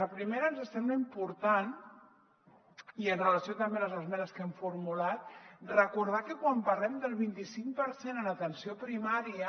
la primera ens sembla important i amb relació també a les esmenes que hem formulat recordar que quan parlem del vint i cinc per cent en atenció primària